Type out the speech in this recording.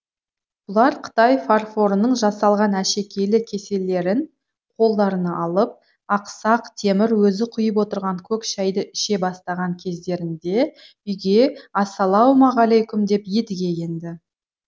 бұлар қытай фарфорының жасалған әшекейлі кеселерін қолдарына алып ақсақ темір өзі құйып отырған көк шайды іше бастаған кездерінде үйге ассалаумағалейкүм деп едіге енді